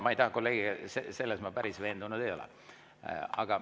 Selles ma päris veendunud ei ole.